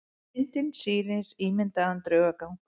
Myndin sýnir ímyndaðan draugagang.